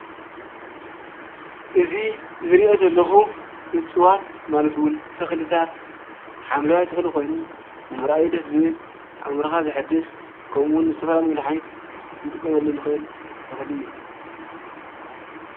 እዚ ዝሪኦ ዘለኹ እፅዋት ማለት እውን ተኽልታት ሓምለዋይ ተኽሊ ኮይኑ ንምርኣዩ ደስ ዝብል፣ ኣእሙሮኻ ዘሕድስ ከምኡውን ንዝተፈላለዩ መድሓኒት ክንጥቀመሉ ንኽእል ተኽሊ እዩ፡፡